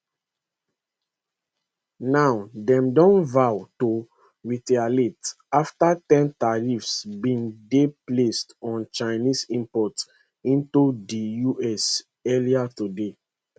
now dem don vow to retaliate after ten tariffs bin dey placed on chinese imports into di us earlier today